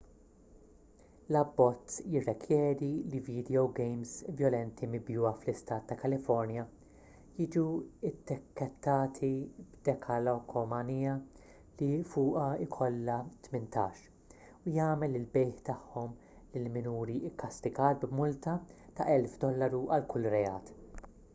l-abbozz jirrikjedi li vidjowgejms vjolenti mibjugħa fl-istat ta' kalifornja jiġu ttikkettati b'dekalkomanija li fuqha jkollha 18 u jagħmel il-bejgħ tagħhom lil minuri kkastigat b'multa ta' $1000 għal kull reat